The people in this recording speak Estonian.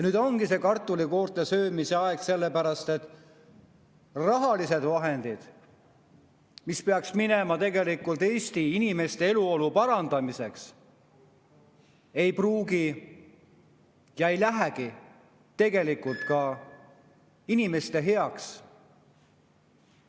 " Nüüd ongi see kartulikoorte söömise aeg, sellepärast et rahalised vahendid, mis peaks minema tegelikult Eesti inimeste eluolu parandamiseks, ei pruugi minna ja tegelikult ei lähegi inimeste heaks.